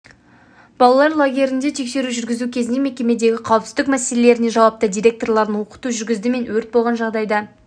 балалар лагерлерінде тексеру жүргізу кезінде мекемедегі қауіпсіздік меселелеріне жауапты директорларын оқыту жүргізді мен өрт болған жағдайда